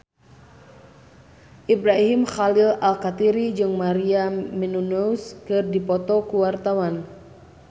Ibrahim Khalil Alkatiri jeung Maria Menounos keur dipoto ku wartawan